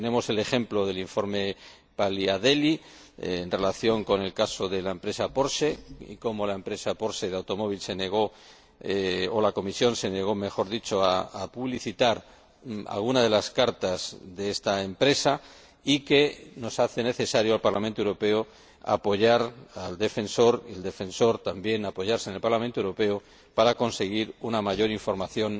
Tenemos el ejemplo del informe Paliadeli, en relación con el caso de la empresa Porsche, y, como la empresa Porsche de automóviles se negó, o la Comisión se negó, mejor dicho, a publicitar algunas de las cartas de esta empresa, se nos hace necesario, al Parlamento Europeo, apoyar al Defensor, y al Defensor también apoyarse en el Parlamento Europeo para conseguir una mayor información